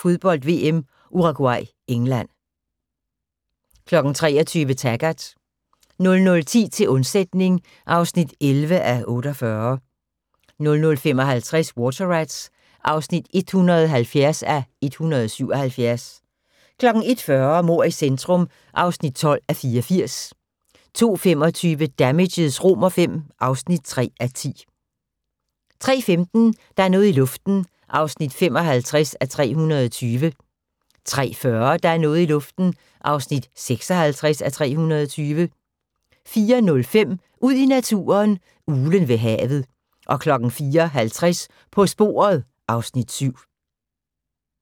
Fodbold: VM - Uruguay-England * 23:00: Taggart 00:10: Til undsætning (11:48) 00:55: Water Rats (170:177) 01:40: Mord i centrum (12:84) 02:25: Damages V (3:10) 03:15: Der er noget i luften (55:320) 03:40: Der er noget i luften (56:320) 04:05: Ud i naturen: Uglen ved havet 04:50: På sporet (Afs. 7)